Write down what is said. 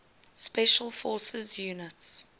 special forces units